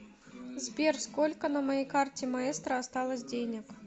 сбер сколько на моей карте маэстро осталось денег